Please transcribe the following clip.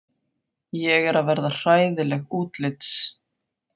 Ég er að verða hræðileg útlits.